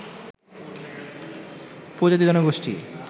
উপজাতীয় জনগোষ্ঠী